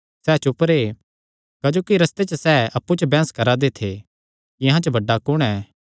सैह़ चुप रैह् क्जोकि रस्ते च सैह़ अप्पु च एह़ बैंह्स करा दे थे कि अहां च बड्डा कुण ऐ